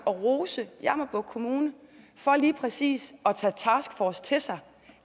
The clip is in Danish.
rose jammerbugt kommune for lige præcis at tage taskforcen til sig